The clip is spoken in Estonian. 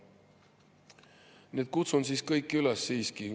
Nii et kutsun kõiki üles siiski …